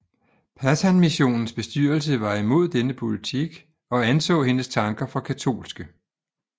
Pathanmissionens bestyrelse var imod denne politik og anså hendes tanker for katolske